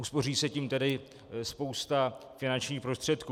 Uspoří se tím tedy spousta finančních prostředků.